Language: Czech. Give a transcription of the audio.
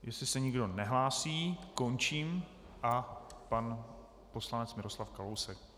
Jestliže se nikdo nehlásí, končím a... Pan poslanec Miroslav Kalousek.